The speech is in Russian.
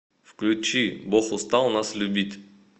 включи бог устал нас любить